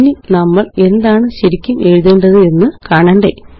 ഇനി നമ്മള് എന്താണ് ശരിക്കും എഴുതേണ്ടത് എന്ന് കാണണ്ടേ